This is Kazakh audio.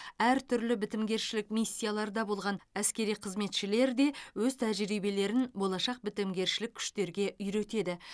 әртүрлі бітімгершілік миссияларда болған әскери қызметшілер де өз тәжірибелерін болашақ бітімгершілік күштерге үйретеді